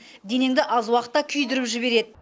денеңді аз уақытта күйдіріп жібереді